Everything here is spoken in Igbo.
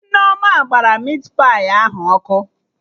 Nneoma gbara mit pai ahụ ọkụ